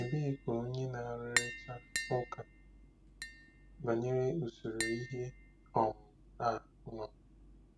Ebee ka onye na-arụrịta ụka banyere usoro ihe um a nọ?